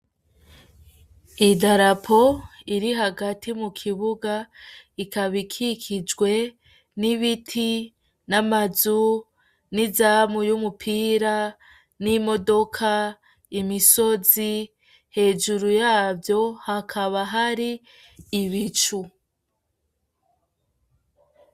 Idarapo iri hagati mu kibuga ikaba ikikijwe n'ibiti, n'amazu, n'izamu y'umupira, n'imodoka, imisozi, hejuru yavyo hakaba hari ibicu.